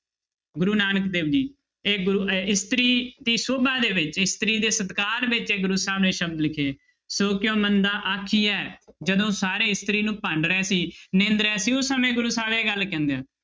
ਗੁਰੂ ਨਾਨਕ ਦੇਵ ਜੀ ਇਹ ਗੁਰੂ ਇ~ ਇਸਤਰੀ ਦੀ ਸੋਭਾ ਦੇ ਵਿੱਚ ਇਸਤਰੀ ਦੇ ਸਤਿਕਾਰ ਵਿੱਚ ਇਹ ਗੁਰੂ ਸਾਹਿਬ ਨੇ ਸ਼ਬਦ ਲਿਖੇ ਸੋ ਕਿਉਂ ਮੰਦਾ ਆਖੀਐ ਜਦੋਂ ਸਾਰੇ ਇਸਤਰੀ ਨੂੰ ਭੰਡ ਰਹੇ ਸੀ, ਨਿੰਦ ਰਹੇ ਸੀ ਉਸ ਸਮੇਂ ਗੁਰੂ ਸਾਹਿਬ ਇਹ ਗੱਲ ਕਹਿੰਦੇ ਆ।